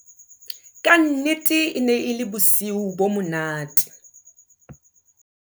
Kannete e ne e le bosiu bo monate.